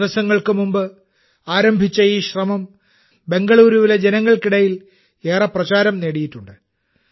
ദിവസങ്ങൾക്കുമുമ്പ് ആരംഭിച്ച ഈ ശ്രമം ബെംഗളൂരുവിലെ ജനങ്ങൾക്കിടയിൽ ഏറെ പ്രചാരം നേടിയിട്ടുണ്ട്